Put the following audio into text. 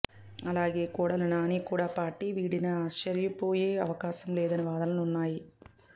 అలాగే కొడాలి నాని కూడా పార్టీ వీడినా ఆశ్చర్యపోయే అవకాశం లేదనే వాదనలు ఉన్నాయి